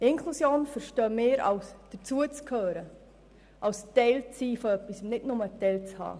Inklusion verstehen wir als Dazugehören, als Teil-Sein, nicht nur als Teilhaben.